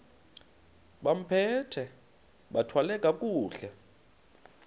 bambathe bathwale kakuhle